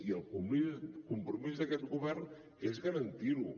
i el compromís d’aquest govern és garantir ho